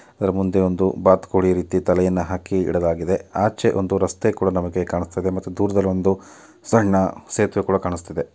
ಅದ್ರು ಮುಂದೆ ಒಂದು ಬಾತುಕೋಳಿ ರೀತಿ ತಲೆಯನ್ನು ಹಾಕಿ ಇಡಲಾಗಿದೆ. ಆಚೆ ಒಂದು ರಸ್ತೆ ಕೂಡ ನಮಗೆ ಕಾಣುಸ್ತಾ ಇದೆ ಮತ್ತು ದೂರದಲ್ಲಿ ಒಂದು ಸಣ್ಣ ಸೇತುವೆ ಕೂಡ ಕಾಣುಸ್ತಿದೆ.